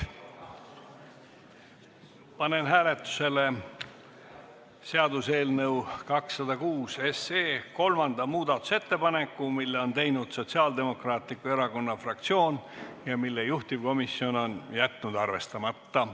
Panen hääletusele seaduseelnõu 206 kolmanda muudatusettepaneku, mille on teinud Sotsiaaldemokraatliku Erakonna fraktsioon ja mille juhtivkomisjon on jätnud arvestamata.